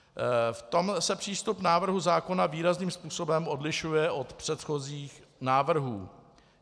V tom se přístup návrhu zákona výrazným způsobem odlišuje od předchozích návrhů.